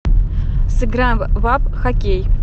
сыграем в апп хоккей